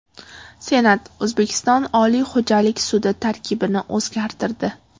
Senat O‘zbekiston Oliy xo‘jalik sudi tarkibini o‘zgartirdi.